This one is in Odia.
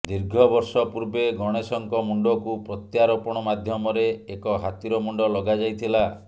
ଦୀର୍ଘ ବର୍ଷ ପୂର୍ବେ ଗଣେଶଙ୍କ ମୁଣ୍ଡକୁ ପ୍ରତ୍ୟାରୋପଣ ମାଧ୍ୟମରେ ଏକ ହାତୀର ମୁଣ୍ଡ ଲଗାଯାଇ ଥିଲା